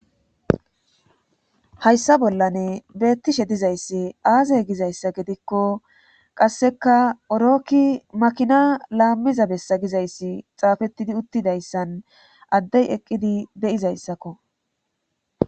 Hayssa bollane beettishe dizayssi aazey gizayssa gidikko qasseka orokki makina laammiza bessa gizayssi xaafettidi uttidayssan addey eqqidi de'izayssakko.